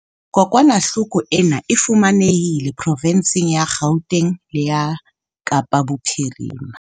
Kokwanahloko ena e fumanehile profensing ya Gauteng le ya Kapa Bophirima.